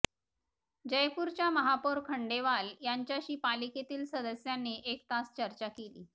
जयपूरच्या महापौर खंडेवाल यांच्याशी पालिकेतील सदस्यांनी एक तास चर्चा केली